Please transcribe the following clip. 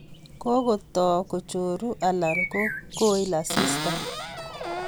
Kokoto kochoru alan ko koil asista.